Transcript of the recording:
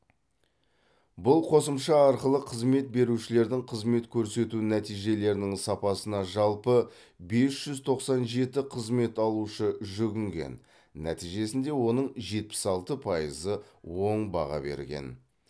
бұл қосымша арқылы қызмет берушілердің қызмет көрсету нәтижелерінің сапасына жалпы бес жүз тоқсан жеті қызмет алушы жүгінген нәтижесінде оның жетпіс алты пайызы оң баға берген